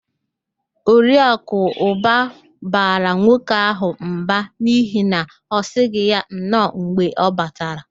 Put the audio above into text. Oriakụ Ụba bara nwoke ahụ mba n'ihi na ọ sịghị ya nnọọ mgbe ọ batara